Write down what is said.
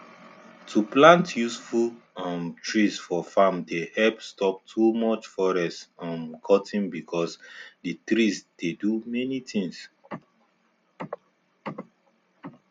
to plant useful um trees for farm dey help stop too much forest um cutting because the trees dey do many things